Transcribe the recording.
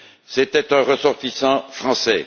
c'était un ressortissant français.